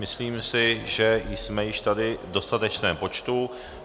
Myslím si, že jsme již tady v dostatečném počtu.